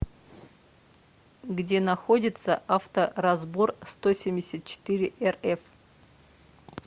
где находится авторазборстосемьдесятчетыреэрэф